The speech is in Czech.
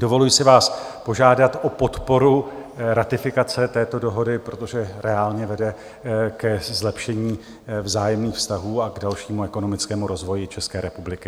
Dovoluji si vás požádat o podporu ratifikace této dohody, protože reálně vede ke zlepšení vzájemných vztahů a k dalšímu ekonomickému rozvoji České republiky.